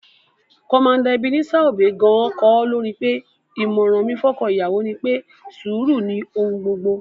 Commander Ebenezer Obey gan-an kọ́ lórin pé: "ìmọ̀ràn mi fọ́kọ́ ìyàwó ni pé, sùúrù ló ni ohun gbogbo"